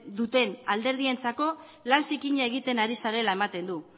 duten alderdientzako lan zikina egiten ari zarela ematen du